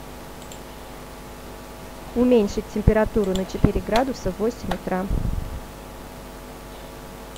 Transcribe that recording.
уменьшить температуру на четыре градуса в восемь утра